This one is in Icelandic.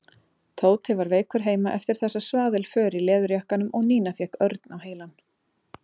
Tóti var veikur heima eftir þessa svaðilför í leðurjakkanum og Nína fékk Örn á heilann.